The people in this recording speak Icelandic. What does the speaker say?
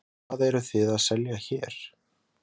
Höskuldur Kári: Hvað eru þið að selja hér?